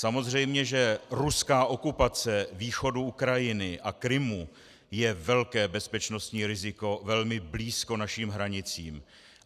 Samozřejmě že ruská okupace východu Ukrajiny a Krymu je velké bezpečnostní riziko velmi blízko našim hranicím.